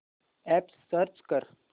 app search कर